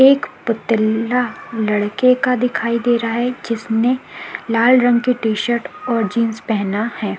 एक पुतला लड़के का दिखाई दे रहा है जिसने लाल रंग का टी शर्ट और जींस पहना है।